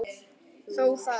Þó það.